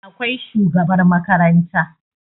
Akwai shugabar makaranta